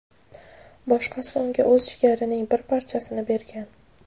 boshqasi unga o‘z jigarining bir parchasini bergan.